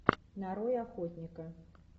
нарой охотника